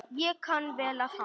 Ég kann vel við hana.